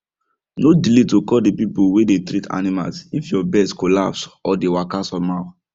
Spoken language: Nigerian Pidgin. no delay to call the people way dey treat animals if your birds collapse or dey walka some how